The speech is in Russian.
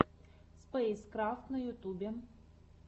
спэйскрафт на ютюбе